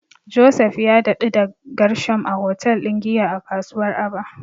Joseph ya daɗu da Gershom a hotel din giya a kasuwar Aba.